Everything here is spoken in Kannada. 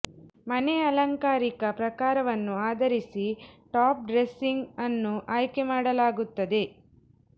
ಮನೆ ಅಲಂಕಾರಿಕ ಪ್ರಕಾರವನ್ನು ಆಧರಿಸಿ ಟಾಪ್ ಡ್ರೆಸಿಂಗ್ ಅನ್ನು ಆಯ್ಕೆ ಮಾಡಲಾಗುತ್ತದೆ